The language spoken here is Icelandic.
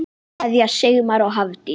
Kveðja, Sigmar og Hafdís.